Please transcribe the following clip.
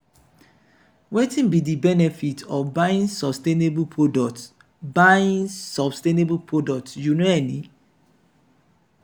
wetin be di benefit of buying sustainable products buying sustainable products you know any?